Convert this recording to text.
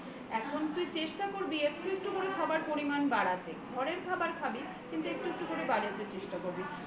এখন তুই চেষ্টা করবি একটু একটু করে খাবারের পরিমাণ বাড়াতে ঘরের খাবারই খাবি কিন্তু একটু একটু করে বাড়াতে চেষ্টা করবি